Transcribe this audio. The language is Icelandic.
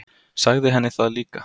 Sagði henni það líka.